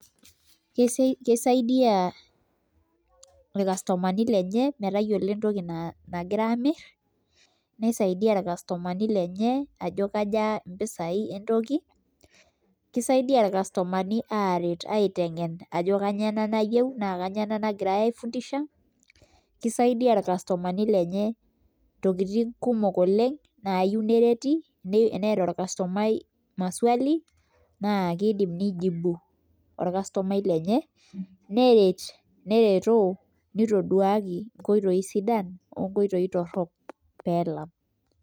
kesaidia ilkastomani lenye metayiolo entoki nagira aas nisaidia ilkastomani lenye ajo kaja entoki kisaidia sii aret metayiolo ajo kanyioo ena nayieu, kisaidia ilkastomani lenye intokitin kumok oleng' nayieu nereti eeta olkastomai maswali naa pee ijibu olkastomai lenye neret neretoo nitoduaki inkoitoi sidan wo nkoitoi torok pee elam.